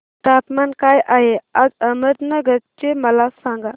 तापमान काय आहे आज अहमदनगर चे मला सांगा